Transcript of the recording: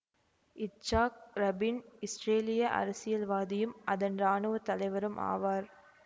Yitzhak Rabin இஸ்ரேலிய அரசியல்வாதியும் அதன் இராணுவ தலைவரும் ஆவார்